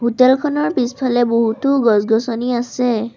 Hotel খনৰ পিছফালে বহুতো গছ-গছনি আছে।